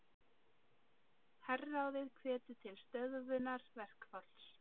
Herráðið hvetur til stöðvunar verkfalls